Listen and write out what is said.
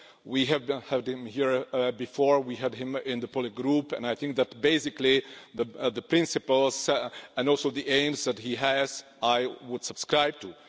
We have heard him here before, we heard him in the political group and I think that basically, the principles and also the aims that he has, I would subscribe to.